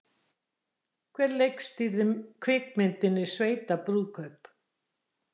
Hver leikstýrði kvikmyndinni Sveitabrúðkaup?